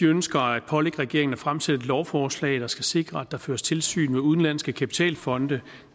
ønsker at pålægge regeringen at fremsætte et lovforslag som skal sikre at der føres tilsyn med udenlandske kapitalfonde